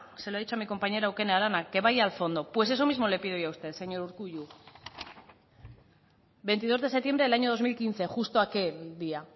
se lo ha dicho a mi compañera eukene arana que vaya al fondo pues eso mismo le pido yo a usted señor urkullu veintidos de septiembre del año dos mil quince justo aquel día